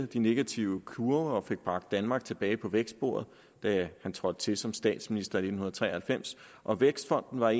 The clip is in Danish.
de negative kurver og fik bragt danmark tilbage på vækstsporet da han trådte til som statsminister i nitten tre og halvfems og vækstfonden var